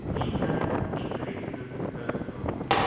heater increases personal